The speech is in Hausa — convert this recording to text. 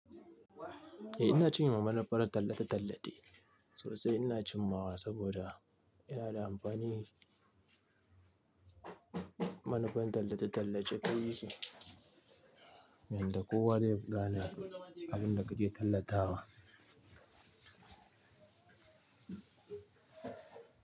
Eh ina cinye wa manufar tallate-tallate, sosai ina cinmawa saboda yana da amfani. Manufan tallace-tallace kai yake, yadda kowa zai gane abinda kake tallatawa.